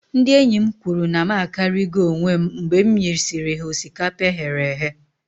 Ndị enyi m kwuru na m akarigo onwem mgbe m nyesịrị ha osikapa e ghere eghe